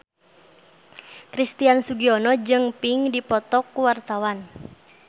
Christian Sugiono jeung Pink keur dipoto ku wartawan